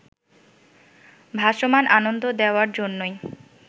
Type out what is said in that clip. ভাসমান আনন্দ দেওয়ার জন্যই